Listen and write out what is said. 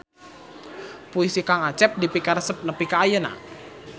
Puisi Kang Acep dipikaresep nepi ka ayeuna